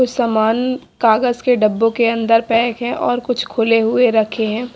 कुछ सामान कागज के डब्बों के अंदर पैक है और कुछ खुले हुए रखे हैं।